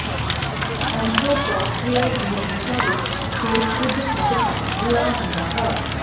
anteroposterior ਦੀ ਦਿਸ਼ਾ ਵਿੱਚ ਸਿਰ ਕੁਝ ਹੱਦ ਤਕ ਗੂੜ੍ਹਾ ਹੁੰਦਾ ਹੈ